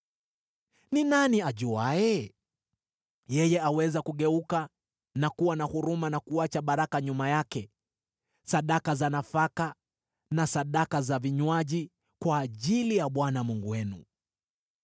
Ni nani ajuaye? Yeye aweza kugeuka na kuwa na huruma na kuacha baraka nyuma yake: sadaka za nafaka na sadaka za vinywaji kwa ajili ya Bwana Mungu wenu.